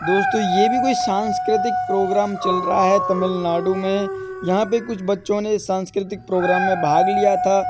दोस्तो ये भी कोई सांस्कृतिक प्रोग्राम चल रहा है तमिलनाडु में। यहाँ पे कुछ बच्चो ने सांस्कृतिक प्रोग्राम मे भाग लिया था।